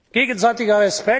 aber Gegenseitiger